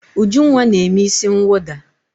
Ujunwa na-eme isi mwụda.